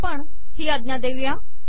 आता आपण ही अाज्ञा देऊ